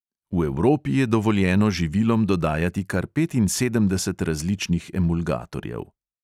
V evropi je dovoljeno živilom dodajati kar petinsedemdeset različnih emulgatorjev.